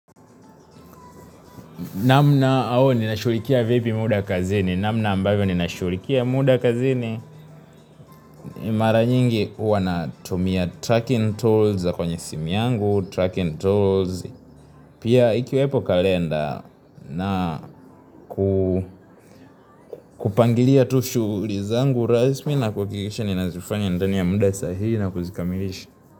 Namna au ninashughulikia vipi muda kazini, namna ambayo ninashughulikia muda kazini. Mara nyingi huwa natumia tracking tools za kwenye simi yangu, tracking tools. Pia ikiwepo kalenda na kupangilia tu shughuli zangu rasmi na kuhakikisha ninazifanya ndani ya muda sahihi na kuzikamilisha.